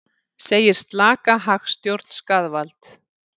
Segir slaka hagstjórn skaðvald